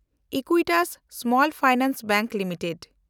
Equitas small finance bank limited